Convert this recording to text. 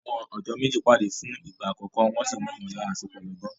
Àwọn ọ̀dọ́ méjì pàdé fún ìgbà àkọ́kọ́, wọn sì ní ìmọ̀lára àsopọ̀ lọ́gán.